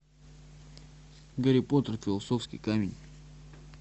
гарри поттер философский камень